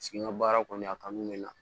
Sigi n ka baara kɔni a kanu bɛ n na